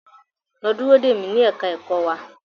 Lọ dúró dè mi ní ẹ̀ka ẹ̀kọ́ wa.